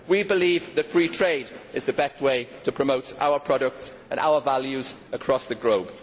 We believe that free trade is the best way to promote our products and our values across the globe.